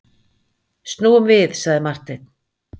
Snúum við, sagði Marteinn.